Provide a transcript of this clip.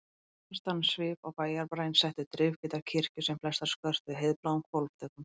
Sterkastan svip á bæjarbraginn settu drifhvítar kirkjur sem flestar skörtuðu heiðbláum hvolfþökum.